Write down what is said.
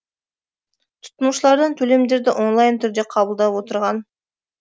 тұтынушылардан төлемдерді онлайн түрде қабылдап отырған